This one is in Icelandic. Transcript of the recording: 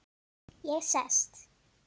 Ég sest.